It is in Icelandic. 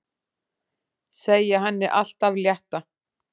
Segja henni allt af létta.